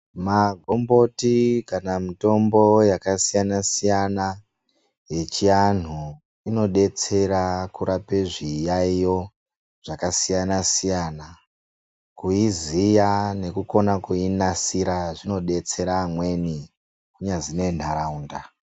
Makomboti kana mutombo yakasiyana siyana yechianhu inobetsera kurape zviyayiyo zvakasiyana siyana. Kuiziya nekukona kuinasira zvinobetsera amweni kunyazi nenharaunda.